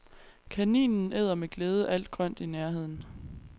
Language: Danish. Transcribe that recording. Kaninen æder med glæde alt grønt i nærheden.